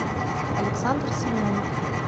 александр семенов